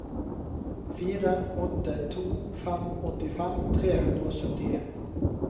fire åtte to fem åttifem tre hundre og syttien